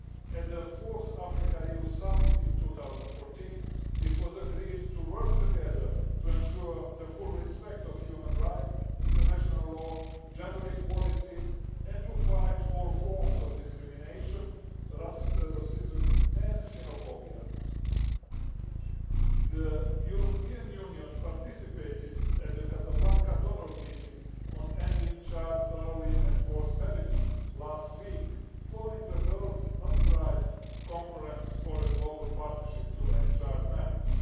At the 4th Africa EU Summit in 2014, it was agreed to work together to ensure the full respect of human rights, international law, gender equality, and to fight all forms of discrimination, racism and xenophobia. The European Union participated at the Casablanca donor meeting on Ending Child, Early and Forced Marriage last week, following the Girls Not Brides' conference for a global partnership to end child marriage.